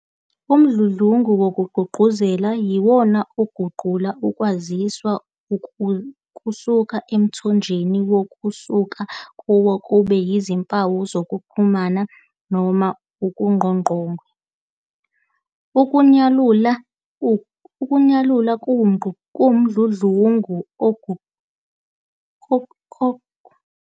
Umdludlungu wokuguqukezela "encoding" yiwona oguqula ukwaziswa kusuka emthonjeni okusuka kuwo kube yizimpawu zokuxhumana noma kuqoqongwe. Ukunyalula "decoding" kuwumdludlungu ogushela emuva lokho, ngokuguqula izimpawu zenguqukezo zibe uhlobo oluqondwa umamukeli wokwaziswa, njengesiZulu noma isiXhosa.